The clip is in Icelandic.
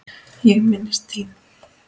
Ég minnist þín.